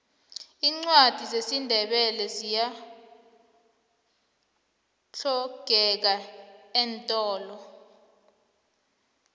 iincwadi zesindebele ziyahlogeka eentolo